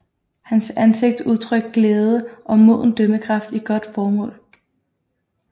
Hans ansigt udtrykte glæde og moden dømmekraft i godt mål